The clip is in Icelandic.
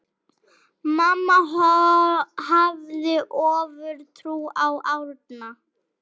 Mamma hafði ofurtrú á Árna.